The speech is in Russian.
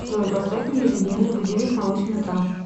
джой поставь мне ежедневный будильник на восемь утра